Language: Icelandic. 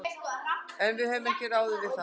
En við höfum ráðið við það.